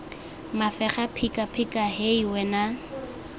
mafega phika phika hei wena